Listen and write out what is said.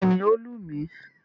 Bẹ́ẹ̀ni, ó lù mí.